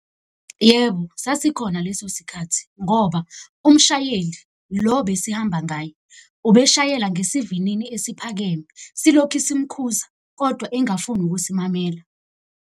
Yebo, sasikhona leso sikhathi ngoba umshayeli lo besihamba ngaye, ubeshayela ngesivinini esiphakeme. Silokhi simukhuze kodwa engafuni ukusimamela.